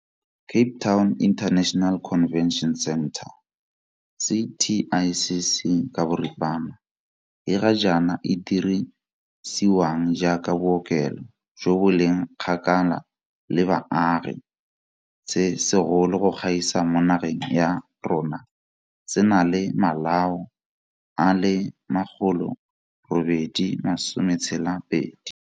Cape Town International Convention Centre CTICC, e ga jaana e dirisiwang jaaka bookelo jo bo leng kgakala le baagi se segolo go gaisa mo nageng ya rona se na le malao a le 862.